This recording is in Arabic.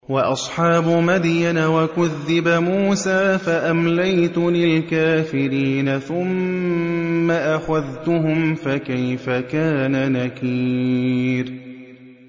وَأَصْحَابُ مَدْيَنَ ۖ وَكُذِّبَ مُوسَىٰ فَأَمْلَيْتُ لِلْكَافِرِينَ ثُمَّ أَخَذْتُهُمْ ۖ فَكَيْفَ كَانَ نَكِيرِ